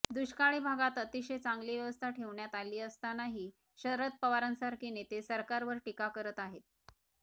दुष्काळी भागात अतिशय चांगली व्यवस्था ठेवण्यात आली असतानाही शरद पवारांसारखे नेते सरकारवर टीका करत आहेत